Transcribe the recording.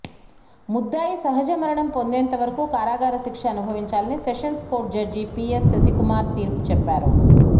ముద్దాయి సహజ మరణం పొందేంత వరకు కారాగార శిక్ష అనుభవించాలని sessions court judge PS Sasikumar తీర్పు చెప్పారు